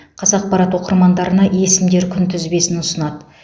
қазақпарат оқырмандарына есімдер күнтізбесін ұсынады